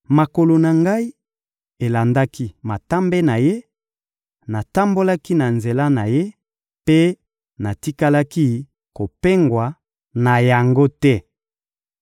Makolo na ngai elandaki matambe na Ye; natambolaki na nzela na Ye mpe natikalaki kopengwa na yango te.